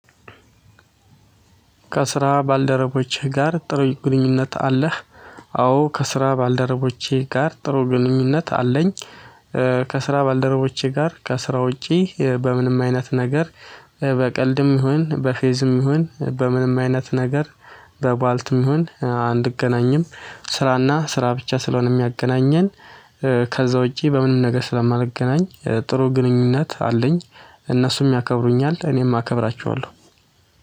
ከስራ ባልደረቦህ ጋር ጥሩ ግንኙነት አለህ? አዎ ከስራ ባልደረቦቼ ጋር ጥሩ ግንኙነት አለኝ። ከስራ ባልደረቦቼ ጋር ከስራ ውጪ በምንም አይነት ነገር በቀልድም ይሁን በፌዝም ይሁን በምንም አይነት ነገር። በባልትም ይሁን አንገናኝም። ስራና ስራ ብቻ ስለሆነ የሚያገናኘን። ከዛ ውጪ በምንም ነገር ስለማልገናኝ ጥሩ ግንኙነት አለኝ። እነሱም ያከብሩኛል እኔም አከብራቸዋለሁ